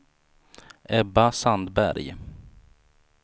Ebba Sandberg